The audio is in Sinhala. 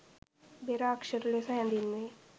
බෙර අක්ෂර ලෙස හැදින්වෙයි